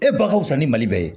E ba ka fisa ni mali bɛɛ ye